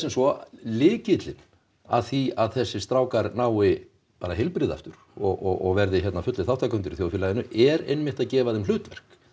svo lykillinn að því að þessir strákar nái bara heilbrigði aftur og verði fullir þátttakendur í þjóðfélaginu er einmitt að gefa þeim hlutverk